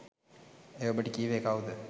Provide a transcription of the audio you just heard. එය ඔබට කීවේ කව්ද